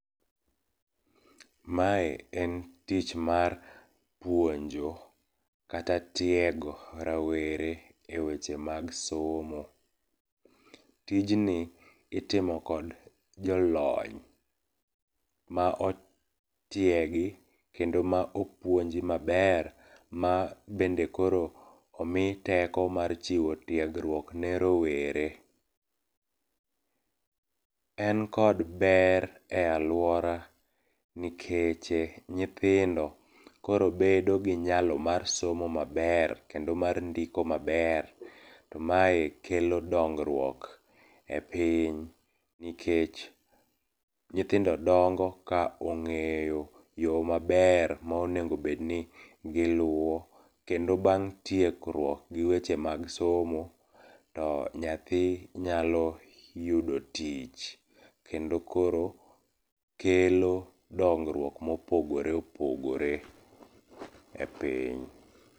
Mae en tich mar puonjo kata tiego rawere e weche mag somo. Tijni itimo kod jolony, ma otiegi kendo ma opuonji maber ma bende koro omi teko mar chiwo tiegruok ne rowere. En kod ber e alwora nikeche nyithindo koro bedo gi nyalo mar somo maber kendo mar ndiko maber, to mae kelo dongruok e piny nikech nyithindo dongo ka ong'eyo yo maber ma onego obed ni giluwo, kendo bang' tiekruok gi weche mag somo, to nyathi nyalo yudo tich, kendo koro kelo dongruok mopogore opogore e piny.